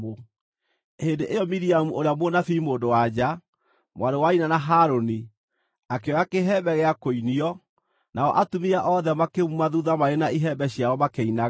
Hĩndĩ ĩyo Miriamu ũrĩa mũnabii mũndũ-wa-nja, mwarĩ wa nyina na Harũni, akĩoya kĩhembe gĩa kũinio, nao atumia othe makĩmuuma thuutha marĩ na ihembe ciao makĩinaga.